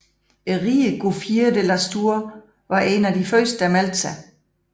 Ridderen Gouffier de Lastours var en af de første der meldte sig